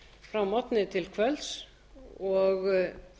frá morgni til kvölds og